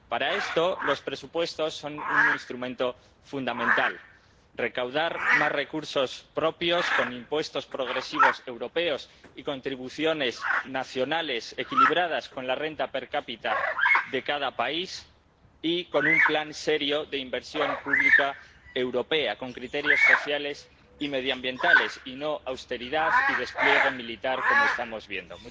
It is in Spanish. Para esto los presupuestos son un instrumento fundamental recaudar más recursos propios, con impuestos progresivos europeos y contribuciones nacionales equilibradas con la renta per cápita de cada país y con un plan serio de inversión pública europea, con criterios sociales y medioambientales y no con austeridad y despliegue militar, como estamos viendo.